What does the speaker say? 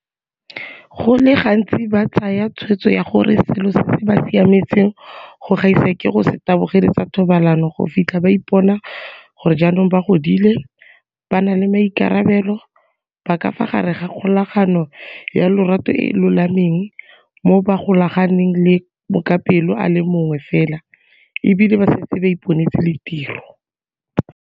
Go le gantsi ba tsaya tshwetso ya gore selo se se ba siametseng go gaisa ke go se tabogele tsa thobalano go fitlha ba ipona gore jaanong ba godile, ba na le maikarabelo, ba ka fa gare ga kgolagano ya lorato e e lolameng moo ba golaganeng le mokapelo a le mongwe fela e bile ba setse ba iponetse le tiro.